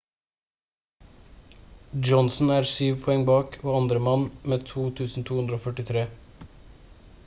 johnson er syv poeng bak og andremann med 2243